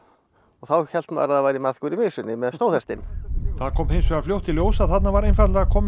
þá hélt maður að það væri maðkur í mysunni með stóðhestinn það kom hins vegar fljótt í ljós að þarna var kominn